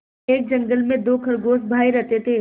एक जंगल में दो खरगोश भाई रहते थे